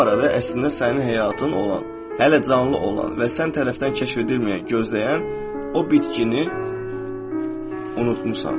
Və bu arada əslində sənin həyatın olan, hələ canlı olan və sən tərəfdən kəşf edilməyən gözləyən o bitkini unutmusan.